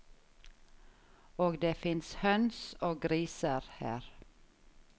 Og det fins høns og griser her.